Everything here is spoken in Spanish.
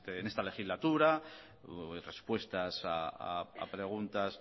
en esta legislatura respuestas a preguntas